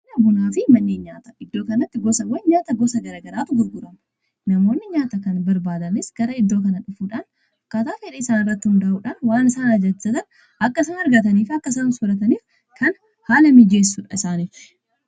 bunaafi manneen nyaata iddoo kanatti gosawwan nyaata gosa gara garaatu gurguramu. namoonni nyaata kana barbaadanis gara iddoo kana dhufuudhaan akkaataa fedha isaanii irratti hunda'uudhaan waan isaan ajajatan akka isaan argataniif akkasuma sorataniif kan haala miijeessudha.